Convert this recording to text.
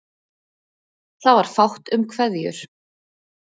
Það var fátt um kveðjur.